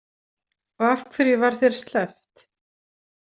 Og af hverju var þér sleppt?